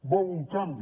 vol un canvi